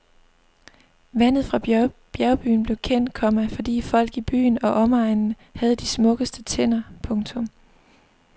Vandet fra bjergbyen blev kendt, komma fordi folk i byen og omegnen havde de smukkeste tænder. punktum